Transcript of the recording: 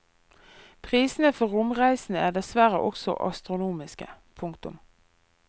Prisene for romreisene er dessverre også astronomiske. punktum